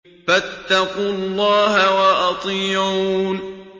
فَاتَّقُوا اللَّهَ وَأَطِيعُونِ